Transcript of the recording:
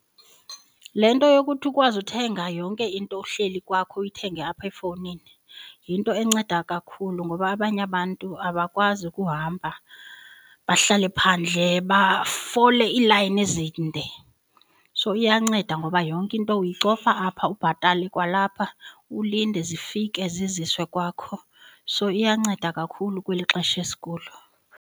Le nto yokuthi ukwazi uthenga yonke into uhleli kwakho uyithenge apha efowunini yinto enceda kakhulu ngoba abanye abantu abakwazi kuhamba bahlale phandle bafole iilayini ezinde. So iyanceda ngoba yonke into uyicofa apha ubhatale kwalapha ulinde zifike ziziswe kwakho. So, iyanceda kakhulu kweli xesha esikulo.